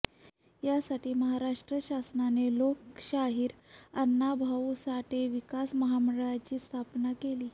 यासाठी महाराष्ट्र शासनाने लोकशाहीर अण्णाभाऊ साठे विकास महामंडळाची स्थापना केली